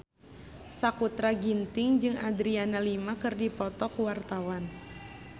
Sakutra Ginting jeung Adriana Lima keur dipoto ku wartawan